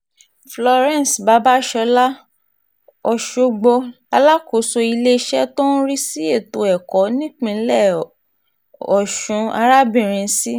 florence babasola ọ̀ṣọ́gbó alákòóso iléeṣẹ́ tó ń rí sí ètò ẹ̀kọ́ nípínlẹ̀ ọ̀ṣun arábìnrin c